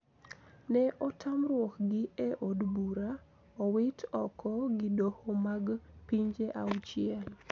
Ne otamruok gi e od bura, owit oko gi doho mag pinje auchiel: